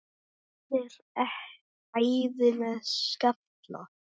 Þú værir æði með skalla!